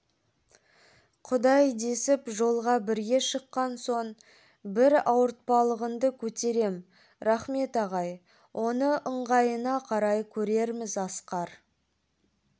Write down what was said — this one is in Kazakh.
құдай десіп жолға бірге шыққан соң бір ауыртпалығыңды көтерем рахмет ағай оны ыңғайына қарай көрерміз асқар